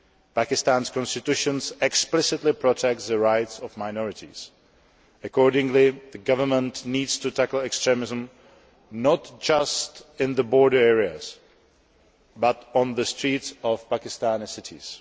Pakistan's constitution explicitly protects the rights of minorities, and accordingly, the government needs to tackle extremism not just in the border areas but also on the streets of Pakistani cities.